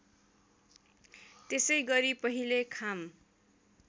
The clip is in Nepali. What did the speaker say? त्यसैगरी पहिले खाम